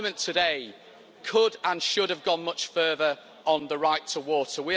Parliament today could and should have gone much further on the right to water.